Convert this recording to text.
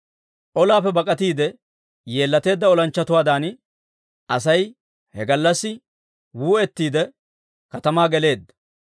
Olaappe bak'atiide yeellateedda olanchchatuwaadan, Asay he gallassi wuu'ettiide katamaa geleedda.